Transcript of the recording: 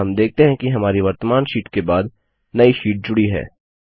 हम देखते हैं कि हमारी वर्त्तमान शीट के बाद नई शीट जुडी है